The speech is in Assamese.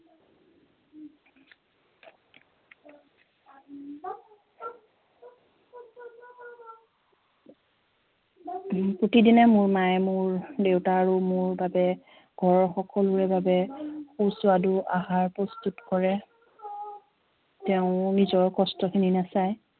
প্ৰতিদিনে মোৰ মায়ে মোৰ দেউতা আৰু মোৰ বাবে ঘৰৰ সকলোৰে বাবে সুস্বাদু আহাৰ প্ৰস্তুত কৰে তেওঁ নিজৰ কস্টখিনি নেচায়